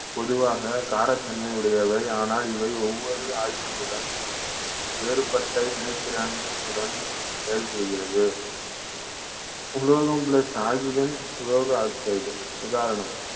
பொதுவாக காரத்தன்மை உடையவை ஆனால் இவை ஒவ்வொரு oxygen னுடன் வேறுபட்ட வினைத்திறனுடன் செயல்படுகிறது உலோகம் plus oxygen உலோக oxide உதாரணம்